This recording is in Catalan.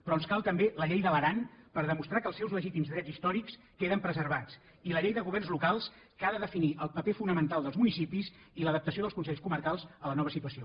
però ens cal també la llei de l’aran per demostrar que els seus legítims drets històrics queden preservats i la llei de governs locals que ha de definir el paper fonamental dels municipis i l’adaptació dels consells comarcals a la nova situació